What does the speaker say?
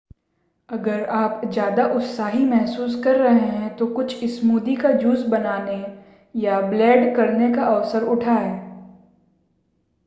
अगर आप ज़्यादा उत्साही महसूस कर रहे हैं तो कूछ स्मूदी का जूस बनाने या ब्लेंड करने का अवसर उठाएं